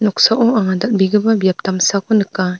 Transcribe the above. noksao anga dal·begipa biap damsako nika.